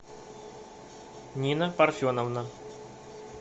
нина парфеновна